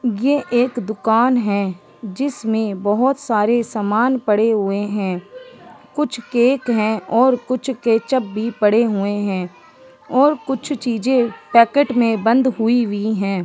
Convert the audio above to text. ये एक दुकान है जिसमें बहोत सारे समान पड़े हुए हैं कुछ केक है और कुछ केचप भी पड़े हुए हैं और कुछ चीजें पैकेट में बंद हुई हुईं है।